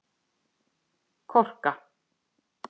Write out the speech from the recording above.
Korka